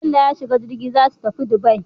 Bello ya shiga jirgi zasu tafi Dubai